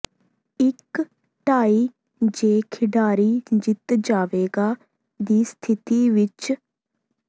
ਇਕ ਟਾਈ ਜੇ ਖਿਡਾਰੀ ਜਿੱਤ ਜਾਵੇਗਾ ਦੀ ਸਥਿਤੀ ਵਿੱਚ